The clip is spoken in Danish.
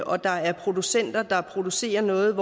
og der er producenter der producerer noget